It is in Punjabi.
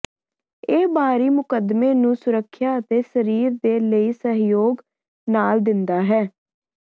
ਇਹ ਬਾਹਰੀ ਮੁਕੱਦਮੇ ਨੂੰ ਸੁਰੱਖਿਆ ਅਤੇ ਸਰੀਰ ਦੇ ਲਈ ਸਹਿਯੋਗ ਨਾਲ ਦਿੰਦਾ ਹੈ